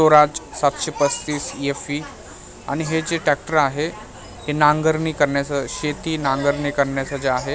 स्वराज सातशे पस्तीस एफ_ई आणि हे जे ट्रॅक्टर आहे नांगरणी करण्याचं शेती नांगरणी करण्याचं जे आहे .